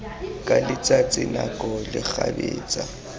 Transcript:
tsa letsatsi nako le kgabetsa